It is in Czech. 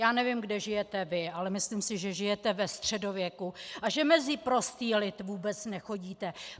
Já nevím, kde žijete vy, ale myslím si, že žijete ve středověku a že mezi prostý lid vůbec nechodíte.